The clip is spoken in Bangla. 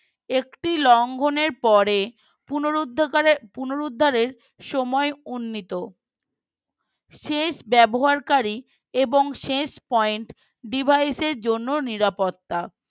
একটি লঙ্গনের পরে পুনরুদ্ধাকারে পুনরুদ্ধারের সময় উন্নীত শেষ ব্যবহারকারী এবং শেষ Point device র জন্য নিরাপত্তা